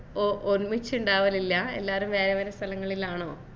ഓ ഒന്നിച്ചുണ്ടാവലില്ല എല്ലാരും വേറെ വേറെ സ്ഥലങ്ങളിലാണോ